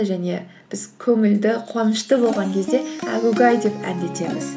және біз көңілді қуанышты болған кезде әгугай деп әндетеміз